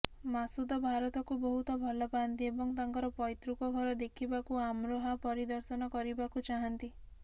ମାସୁଦ ଭାରତକୁ ବହୁତ ଭଲ ପାଆନ୍ତି ଏବଂ ତାଙ୍କ ପୈତୃକ ଘର ଦେଖିବାକୁ ଅମ୍ରୋହା ପରିଦର୍ଶନ କରିବାକୁ ଚାହାଁନ୍ତି